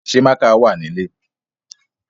Ṣé mákà wà nílè?